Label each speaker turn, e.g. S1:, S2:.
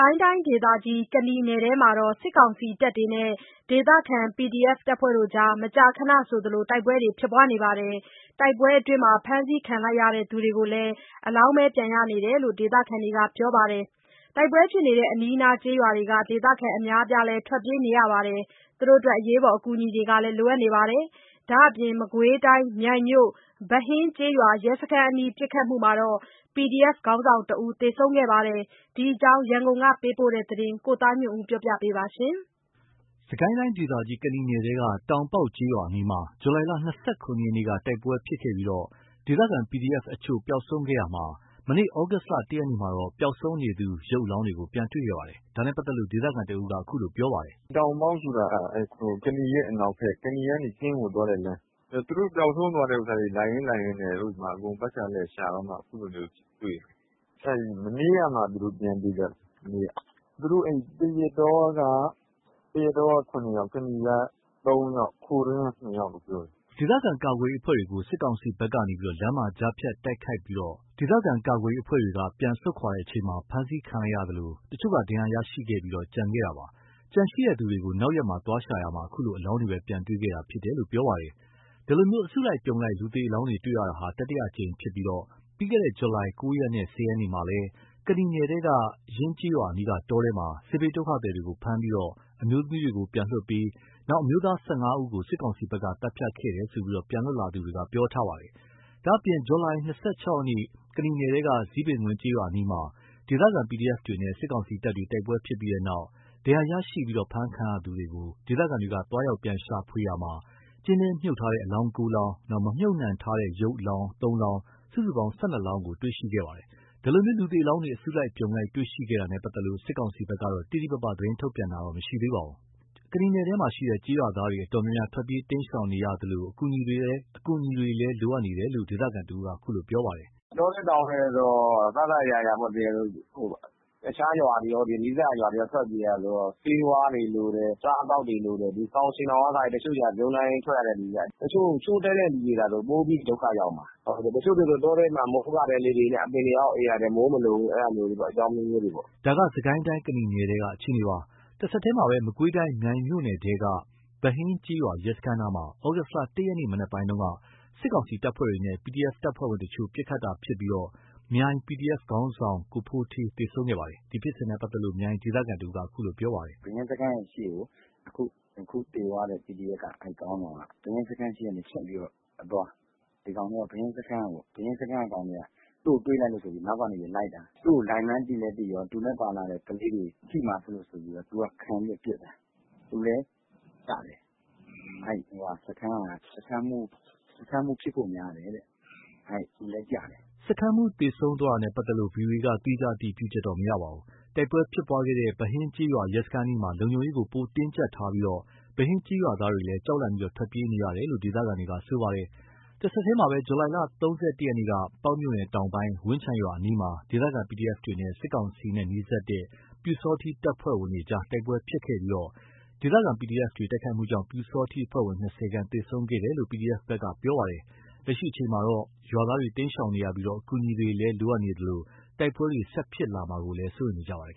S1: ိုင်းတိုင်းဒေသကြီး ကနီနယ်ထဲ စစ်ကောင်စီတပ်တွေနဲ့ ဒေသခံ PDF တွေ မကြာခဏဆိုသလို တိုက်ပွဲဖြစ်ပွားနေပြီး တိုက်ပွဲအတွင်း ဖမ်းဆီးခံရသူတွေကိုလည်း အလောင်းပဲ ပြန်ရနေတယ်လို့ ဒေသခံတွေကပြောပါတယ်။ တိုက်ပွဲဖြစ်တဲ့အနီးအနား ဒေသခံအများအပြားလည်း ထွက်ပြေးနေရသလို အကူညီတွေလည်း လိုအပ်နေပါတယ်။ ဒါ့အပြင် မကွေးတိုင်း၊ မြိုင်မြို့ ဗဟင်းကျေးရွာ ရဲစခန်းအနီးပစ်ခတ်မှုမှာ PDF ခေါင်းဆောင်တဦးသေဆုံး ခဲ့ပါတယ်။ ဒီအကြောင်း ရန်ကုန်ကပေးပို့တဲ့သတင်း ကိုသားညွန့်ဦး ပြောပြပါမယ်။
S2: စစ်ကိုင်းတိုင်းဒေသကြီး ကနီနယ်ထဲက တောင်ပေါက်ကျေးရွာ အနီးမှာ ဇူလိုင် ၂၇ ရက်နေ့က တိုက်ပွဲဖြစ်ပွားခဲ့ပြီးဒေသခံ PDF အချို့ပျောက်ဆုံးခဲ့ရာမှာ၊ မနေ့ သြဂုတ် ၁ ရက်နေ့မှာတော့ ပျောက်ဆုံးနေသူ ရုပ်အလောင်းတွေ ပြန်တွေ့ခဲ့ပါတယ်။ ဒါနဲ့ပတ်သက်လို့ ဒေသခံတဦးက အခုလိုပြောပါတယ်။ “တောင်ပေါက်ဆိုတာ ကနီရဲ့အနောက်ဖက် ကနီကနေ ကင်းကိုသွားတဲ့လမ်းပျောက်ဆုံးသွားတဲ့သူတွေကို လိုက်ရင်းလိုက်ရင်းနဲ့ အကုန်ပတ်ခ
S3: ျာလည်ရှာတော့မှ အခုလိုမျိုးတွေ့တာ မနေ့ကမှ ပြန်တွေ့ကြတာ။ သရက်တောက ၇ ယောက် ကနီက ၃ ယောက်၊ ခိုတွင်းက ၂ ယောက်။
S2: ” ဒေသခံ ကာကွယ်ရေးအဖွဲ့တွေကို စစ်ကောင်စီဘက်က လမ်းမှာ ကြားဖြတ်တိုက်ခိုက်ခံရပြီး ဒေသခံကာကွယ်ရေးအဖွဲ့တွေက ပြန်ဆုတ်ချိန်မှာ ဖမ်းဆီးခံလိုက်ရသလို တချို့က ဒဏ်ရာရရှိခဲ့ပြီး ကျန်ရှိခဲ့တာပါ။ ကျန်ရှိတဲ့သူတွေကို နောက်ရက် သွားရှာရာမှာတော့ အခုလိုအလောင်းပဲ ပြန်တွေ့ခဲ့တာ ဖြစ်ပါတယ်။ ဒီအလို အစုလိုက်အပြုံလိုက် လူသေအလောင်းတွေ့ရှိတာဟာ တတိယအကြိမ်ဖြစ်ပြီး ပြီးခဲ့တဲ့ ဇူလိုင် ၉ ရက်နဲ့ ၁၀ ရက်မှာလည်း ကနီနယ်ထဲက ယင်းကျေးရွာအနီးက တောထဲမှာ စစ်ဘေးဒုက္ခသည်တွေကို ဖမ်းဆီးပြီး အမျိုးသမီးတွေကို ပြန်လွှတ်ပေးပြီးနောက် အမျိုးသား ၁၅ ယောက်ကို စစ်ကောင်စီဘက်က သတ်ဖြတ်ခဲ့တယ်လို့ ပြန်လွတ်လာသူတွေက ပြောပါတယ်။ ဒါ့အပြင် ဇူလိုင် ၂၆ ရက်ကနီနယ် ထဲက ဇီပင်ကွင်းကျေးရွာအနီးမှာ ဒေသခံ PDF တွေနဲ့ စစ်ကောင်စီတပ်တွေ တိုက်ပွဲဖြစ်ပွားခဲ့ပြီးနောက် ဒဏ်ရာ ရရှိပြီး ဖမ်းဆီးခံရသူတွေကို ဒေသခံတွေက သွားရောက်ရှာဖွေရာမှာ ကျင်းထဲမြှုပ်ထားတဲ့ အလောင်း ၉ လောင်းတွေ့ရှိခဲ့ပြီး မမြှုပ်နှံထားတဲ့ ရုပ်အလောင်း ၃ လောင်း စုစုပေါင်း ၁၂ လောင်း တွေ့ရှိခဲ့ပါတယ်။ ဒီလို လူသေအလောင်းတွေ အစုလိုက်အပြုံလိုက်တွေ့ရှိနေတာနဲ့ပတ်သက်လို့ စစ်ကောင်စီဘက်က တိတိပပ သတင်းထုတ်ပြန်တာတော့မရှိသေးပါဘူး။ ကနီနယ်ထဲက ကျေးရွာတွေ တော်တော်များများ ထွက်ပြေးတိမ်းရှောင်နေရသလို အကူအညီတွေလိုအပ်နေတယ်လို့ ဒေသခံ တဦးက အခုလိုပြောပါတယ်
S3: ။ “တောထဲတောင်ထဲဆိုတော့ အစအစ အရာရာ အခြားနီးစပ်ရာရွာတွေကော ထွက်ပြေးရတာဆိုတော့ ဆေးဝါးတွေလိုတယ်။ အစားအသောက်တွေလိုတယ် စောင်ခြင်ထောင်ကအစ လိုတယ် တချို့တွေက ဗြုန်းစားကြီး ထွက်ရတဲ့သူတွေဆိုတော့ ချို့တဲ့သူတွေသာဆို ပိုပြီးဒုက္ခရောက်မှာ တချို့ဆို မိုးကာတဲလေးတွေနဲ့ အပင်တွေအောက် အိပ်ရတယ်။ မိုးမလုံဘူး။ အကြောင်းအမျိုးမျိုးတွေပေါ့
S2: ။” ဒါက စစ်ကိုင်းတိုင်း ကနီနယ်ထဲကအခြေအနေပါ။ တဆက်တည်းမှာပဲ မကွေးတိုင်း မြိုင်မြို့နယ်ထဲက ဗဟင်းကျေးရွာ ရဲစခန်းနားမှာ သြဂုတ် ၁ ရက် မနက်ပိုင်းက စစ်ကောင်စီတပ်ဖွဲ့တွေနဲ့ PDF တပ်ဖွဲ့ဝင်အချို့ ပစ်ခတ်တာဖြစ်ပွားပြီး မြိုင် PDF ခေါင်းဆောင်ကို ဖိုးဌေးသေဆုံးခဲ့ပါတယ်။ ဒီဖြစ်စဉ်နဲ့ ပတ်သက်လို့ မြိုင်ဒေသခံတဦးက အခုလိုပြောပါတယ်။
S3: “ဗဟင်းစခန်းရဲ့ရှေ့ကို အခုသေသွားတဲ့ PDF ခေါင်းဆောင်က ဗဟင်းစခန်းရှေ့က ဖြတ်ပြီးအသွား ဗဟင်းစခန်းက ကောင်တွေက သူ့ကိုတွေ့လိုက်လု့ိဆိုပြီး အနောက်ကနေလိုက်တာ သူ့ကိုလိုက်မှန်းသိတော့ သူနဲ့ပါလာတဲ့ ကလေးတွေ ထိမှာစိုးလို့ သူကခံပြီးပစ်တာ။ သူလည်းကျတယ်။ အဲ့စခန်းက စခန်းမှူးဖြစ်ဖို့များတယ်။ သူလည်းကျ
S2: တယ်။” စခန်းမှူးသေဆုံးတာနဲ့ပတ်သက်လို့ ဗွီအိုအေက သီးခြားအတည်ပြုချက်မရပါဘူး။ တိုက်ပွဲဖြစ်ပွားခဲ့တဲ့ ဗဟင်းကျေးရွာ ရဲစခန်းအနီးမှာ လုံခြုံရေးပိုတင်းကျပ်ထားပြီး ဗဟင်းကျေးရွာသားတွေလည်း ကြောက်လန့်ပြီး ထွက်ပြေးနေရတယ်လို့ ဒေသခံတွေကပြောပါတယ်။ တဆက်တည်းမှာပဲ ဇူလိုင် ၃၁ ရက်က ပေါက်မြို့နယ်တောင်ပိုင်း ဝန်းခြုံရွာအနီးမှာ ဒေသခံ PDF တွေနဲ့ စစ်ကောင်စီနဲ့နီးစပ်သူ ပျူစောထီးအဖွဲ့ဝင်တွေ တိုက်ပွဲဖြစ်ပွားခဲ့ပြီး ဒေသခံ PDFတွေတိုက်ခိုက်မှုကြောင့် ပျူစောထီးအဖွဲ့ဝင် ၂၀ ခန့် သေဆုံးခဲ့ တယ်လို့ PDF ဘက်က ပြောပါတယ်။ လက်ရှိအချိန်မှာတော့ ရွာသားတွေ တိမ်းရှောင်နေရပြီး အကူအညီတွေလည်းလို အပ်နေသလို တိုက်ပွဲတွေ ဆက်ဖြစ်လာမှာကို စိုးရိမ်နေကြပါတယ်